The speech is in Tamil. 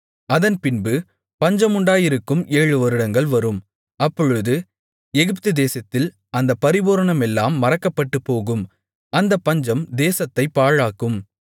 அதன்பின்பு பஞ்சமுண்டாயிருக்கும் ஏழு வருடங்கள் வரும் அப்பொழுது எகிப்துதேசத்தில் அந்தப் பரிபூரணமெல்லாம் மறக்கப்பட்டுப்போகும் அந்தப் பஞ்சம் தேசத்தைப் பாழாக்கும்